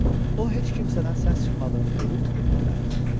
O heç kimsədən səs çıxmadığını görüb evinə qayıtdı.